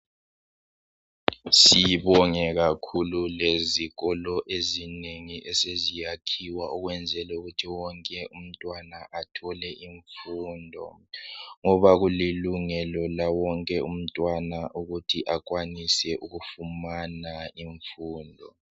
Sibonge kakhulu lezikolo ezinengi eseziyakhiwa ukwenzela ukuthi wonke umntwana athole imfundo ngoba kulilungelo lawonke umntwana ukuthi akwanise ukufumana imfundo.